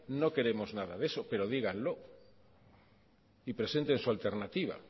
no queremos nada de eso pero díganlo y presenten su alternativa